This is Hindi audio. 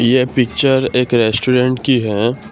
यह पिक्चर एक रेस्टोरेंट की है।